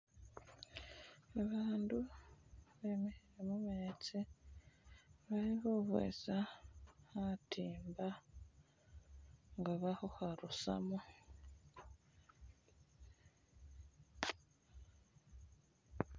Babandu bemikhile mumetsi bali khukhwesa khatimba nga bali khukharusamo